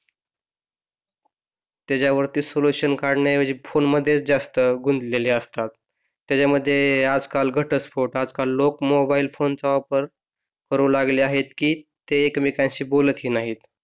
त्याच्यावरती सोल्युशन काढण्याऐवजी फोन मधेच जास्त गुंतलेले असतात, त्याच्या यामध्ये आजकाल घटस्फोट आजकाल लोक मोबाइल फोन चा वापर लोक करू लागले आहेत की ते एकमेकांशी बोलत ही नाहीत.